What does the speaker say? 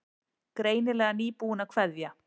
Greinilega nýbúin að kveðja.